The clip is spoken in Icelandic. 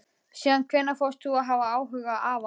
Síðan hvenær fórst þú að hafa áhuga á afa?